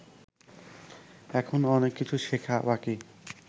এখনও অনেক কিছু শেখা বাকি